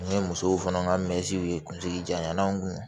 N ye musow fana ka mɛtiriw ye kunsigi janyana n kun